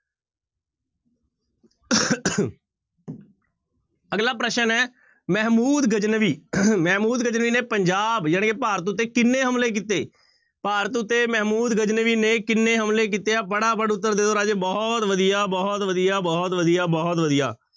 ਅਗਲਾ ਪ੍ਰਸ਼ਨ ਹੈ ਮਹਿਮੂਦ ਗਜਨਵੀ ਮਹਿਮੂਦ ਗਜਨਵੀ ਨੇ ਪੰਜਾਬ ਜਾਣੀ ਕਿ ਭਾਰਤ ਉੱਤੇ ਕਿੰਨੇ ਹਮਲੇ ਕੀਤੇ? ਭਾਰਤ ਉੱਤੇ ਮਹਿਮੂਦ ਗਜਨਵੀ ਨੇ ਕਿੰਨੇ ਹਮਲੇ ਕੀਤੇ ਹੈ ਫਟਾਫਟ ਉੱਤਰ ਦੇ ਦਓ ਰਾਜੇ, ਬਹੁਤ ਵਧੀਆ, ਬਹੁਤ ਵਧੀਆ, ਬਹੁਤ ਵਧੀਆ, ਬਹੁਤ ਵਧੀਆ